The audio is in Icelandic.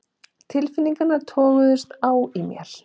Tilfinningarnar toguðust á í mér.